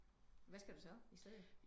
Hvad skal du så i stedet